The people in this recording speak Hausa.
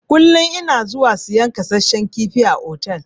Kullun ina zuwa siyan kasassan kifi a otal.